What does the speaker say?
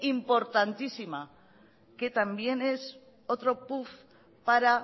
importantísima que también es otro puff para